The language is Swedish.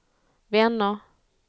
vänner